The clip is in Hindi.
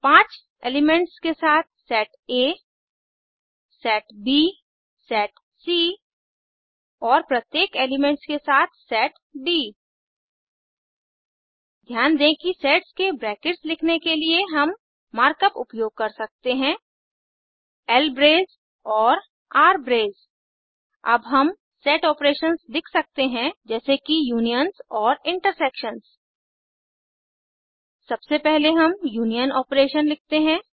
5 एलिमेंट्स के साथ सेट आ सेट ब सेट सी और प्रत्येक एलिमेंट्स के साथ सेट डी ध्यान दें कि सेट्स के ब्रैकेट्स लिखने के लिए हम मार्क अप उपयोग कर सकते हैं ल्ब्रेस और आरब्रेस अब हम सेट ऑपरेशंस लिख सकते हैं जैसे कि यूनियन्स और इंटरसेक्शन्स सबसे हम पहले यूनियन ऑपरेशन लिखते हैं